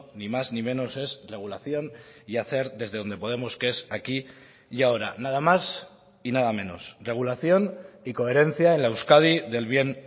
ni más ni menos es regulación y hacer desde donde podemos que es aquí y ahora nada más y nada menos regulación y coherencia en la euskadi del bien